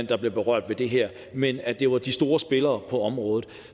der blev berørt af det her men at det var de store spillere på området